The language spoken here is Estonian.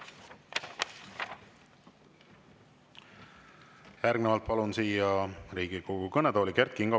Järgnevalt palun siia Riigikogu kõnetooli Kert Kingo.